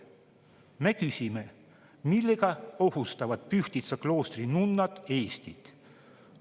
Me küsime, millega ohustavad Pühtitsa kloostri nunnad Eestit.